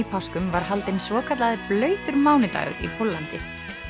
páskum var haldinn svokallaður blautur mánudagur í Póllandi